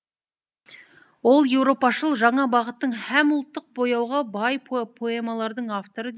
ол еуропашыл жаңа бағыттың һәм ұлттық бояуға бай поэмалардың авторы